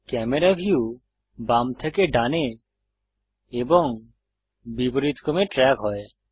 camera view বাম থেকে ডানে এবং বিপরীতক্রমে ট্রেক হয়